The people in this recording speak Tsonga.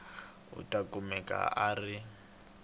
u ta kumeka a ri